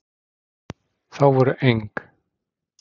Þá voru eng?